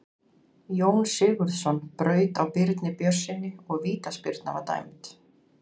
Jón Sigurðsson braut á Birni Björnssyni og vítaspyrna var dæmd.